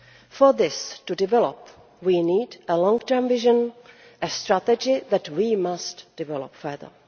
For this to develop, we need a long term vision a strategy that we must develop further.